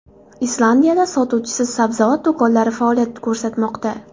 Islandiyada sotuvchisiz sabzavot do‘konlari faoliyat ko‘rsatmoqda.